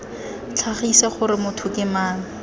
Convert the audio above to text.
tlhagise gore motho ke mang